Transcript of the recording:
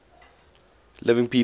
living people